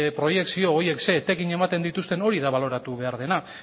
proiekzio edo horiek zein etekin ematen dituzten hori da baloratu behar dena